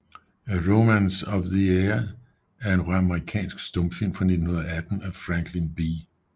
A Romance of the Air er en amerikansk stumfilm fra 1918 af Franklin B